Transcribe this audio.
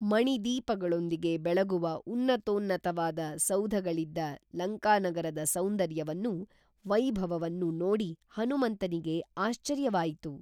ಮಣಿ ದೀಪಗಳೊಂದಿಗೆ ಬೆಳಗುವ ಉನ್ನತೋನ್ನತವಾದ ಸೌಧಗಳಿದ್ದ ಲಂಕಾನಗರದ ಸೌಂದರ್ಯವನ್ನು ವೈಭವವನ್ನು ನೋಡಿ ಹನುಮಂತನಿಗೆ ಆಶ್ಚರ್ಯವಾಯಿತು